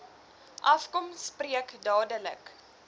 afkom spreek dadelik